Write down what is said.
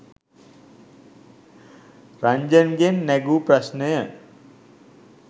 රන්ජන්ගෙන් නැගූ ප්‍රශ්නය